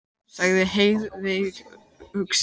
sagði Heiðveig hugsi.